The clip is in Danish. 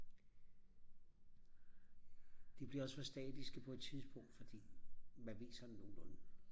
de bliver også for statiske på et tidspunkt fordi man ved sådan nogenlunde